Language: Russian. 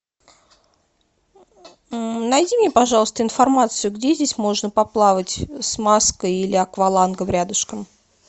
найди мне пожалуйста информацию где здесь можно поплавать с маской или аквалангом рядышком